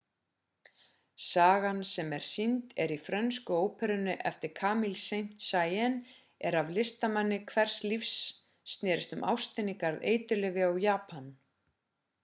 sagan sem sýnd er í frönsku óperunni eftir camille saint-saens er af listamanni hvers líf snerist um ástina í garð eiturlyfja og japan